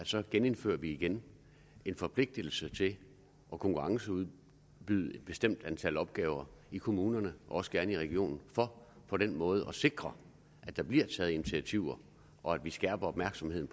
så indfører vi igen en forpligtelse til at konkurrenceudbyde et bestemt antal opgaver i kommunerne også gerne i regionerne for på den måde at sikre at der bliver taget initiativer og at vi skærper opmærksomheden